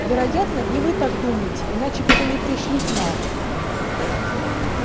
вероятно и вы так думаете иначе бы вы не пришли к нам